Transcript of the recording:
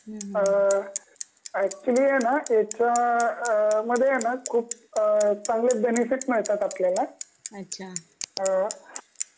अ actually आहे ना याचा.. अ मध्ये आहे ना खूप अ चांगले बेनिफिट मिळतात आपल्याला